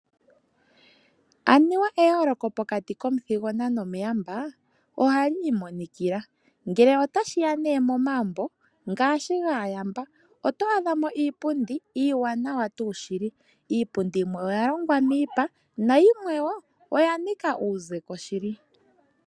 Anuwa eyooloko pokati komuthigona no muyamba oha li imonikila, ngele ota shiya nee mo magumbo ngaashi gaayamba oto adha mo iipundi iiwaanawa tuu shili, iipundi yimwe oya longwa miipa na yimwe woo oya nika uuzepo shili.